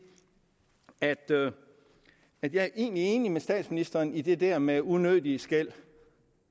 at at jeg egentlig er enig med statsministeren i det der med de unødige skel